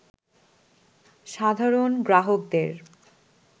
সাধারণ গ্রাহকদের